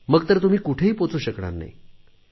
मग तर तुम्ही कुठेही पोहोचू शकणार नाही